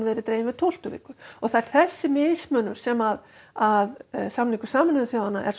dregin við tólftu viku það er þessi mismunun sem að samningur Sameinuðu þjóðanna er